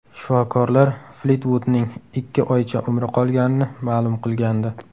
Shifokorlar Flitvudning ikki oycha umri qolganini ma’lum qilgandi.